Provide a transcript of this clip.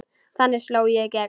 Þannig sló ég í gegn.